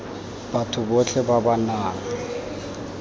batho botlhe ba ba nang